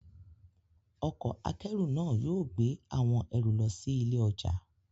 Ọkọ̀ akẹ́rù náà yóò gbé àwọn ẹrù lọ sí ilé ọjà.